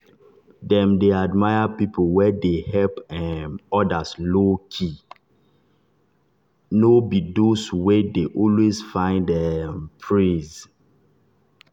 dem dey admire people wey dey help um others low-key no be those wey dey always find um praise.